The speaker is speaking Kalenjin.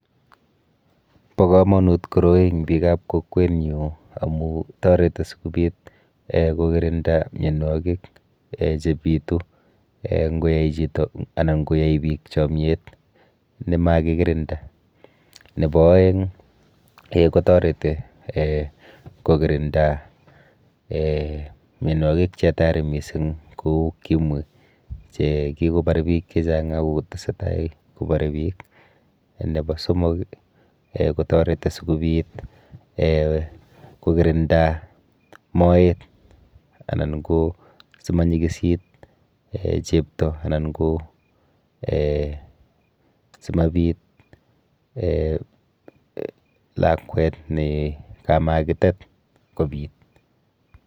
Bo komonut koroi eng biikap kokwenyu amu toreti sikobit um kokirinda mienwokik um chebitu um nkoyai chito anan nkoyai biik chomyet nemakikirinda. Nepo oeng um kotoreti um kokirinda mienwokik che hatari mising kou ukimwi chekikobar biik chechak akotesetai kobore biik. Nepo somok[um] kotoreti sikobit [um]kokiririnda moet anan ko simonyikisit chepto anan ko um simabit um lakwet ne kamakitet kobit.